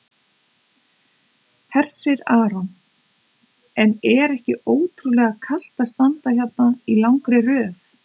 Hersir Aron: En er ekki ótrúlega kalt að standa hérna í langri röð?